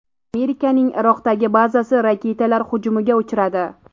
Amerikaning Iroqdagi bazasi raketalar hujumiga uchradi.